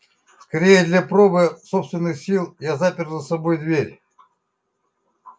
скорее для пробы собственных сил я запер за собой дверь